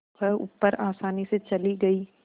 वह ऊपर आसानी से चली गई